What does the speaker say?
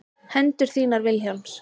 Hendur þínar Vilhjálms.